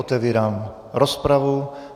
Otevírám rozpravu.